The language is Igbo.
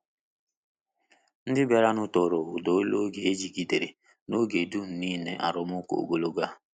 Ndị bịaranụ toro uda olu e jigidere n’oge dum nile arụmụka ogologo a.